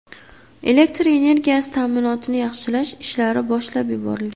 Elektr energiyasi ta’minotini yaxshilash ishlari boshlab yuborilgan.